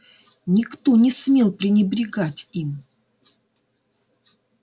никто не смел пренебрегать им